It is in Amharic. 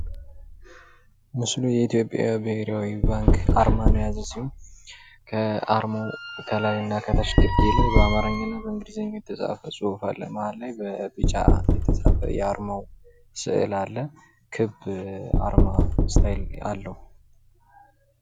ምስሉ የኢትዮጵያ ብሔራዊ ባንክ አርማን ያዘ ሲሆን ከአርማው ከላይና ከታች በአማርኛና በኢንግሊዘኛ የተፃፈ ፅሑፍ አለ መሀል ላይ በቢጫ የተፃፈ የአርማው ስእል አለ፤ የአርማ ስታይል አለው።